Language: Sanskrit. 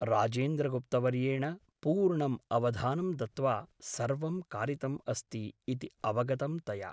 राजेन्द्रगुप्तवर्येण पूर्णम् अवधानं दत्त्वा सर्वं कारितम् अस्ति ' इति अवगतं तया ।